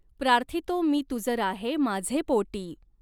प्रार्थितॊं मी तुज राहॆं माझॆं पॊटीं.